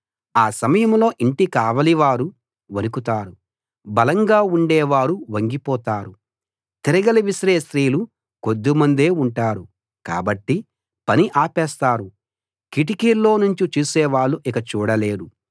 ఆ సమయంలో ఇంటి కావలివారు వణకుతారు బలంగా ఉండేవారు వంగిపోతారు తిరగలి విసిరే స్త్రీలు కొద్దిమందే ఉంటారు కాబట్టి పని ఆపేస్తారు కిటికీల్లో నుంచి చూసేవాళ్ళు ఇక చూడలేరు